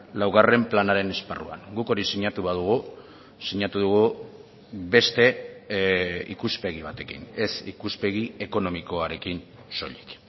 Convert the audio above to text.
laugarren planaren esparruan guk hori sinatu badugu sinatu dugu beste ikuspegi batekin ez ikuspegi ekonomikoarekin soilik